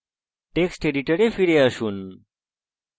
text editor ফিরে আসুন